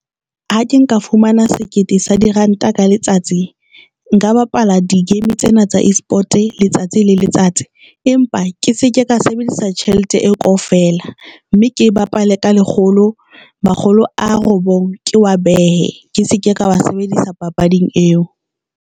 Ha ke nka fumana sekete sa diranta ka letsatsi Nka bapala di game tsena tsa export letsatsi le letsatsi. Empa ke seke ka sebedisa tjhelete eo kaofela mme ke bapale ka lekgolo, makgolo a robong, ke wa behe ke seke ka wa sebedisa papading eo.